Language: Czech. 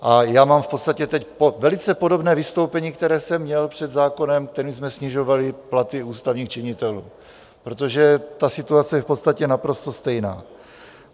A já mám v podstatě teď velice podobné vystoupení, které jsem měl před zákonem, kterým jsme snižovali platy ústavních činitelů, protože ta situace je v podstatě naprosto stejná.